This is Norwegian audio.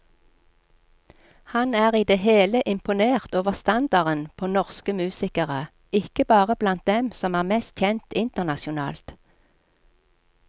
Han er i det hele imponert over standarden på norsk musikere, ikke bare blant dem som er mest kjent internasjonalt.